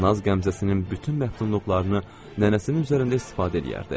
Naz qəmzəsinin bütün məhdudluqlarını nənəsinin üzərində istifadə eləyərdi.